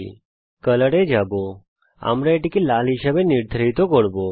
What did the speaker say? আমরা color এ যাব আমরা এটিকে লাল হিসাবে নির্ধারিত করব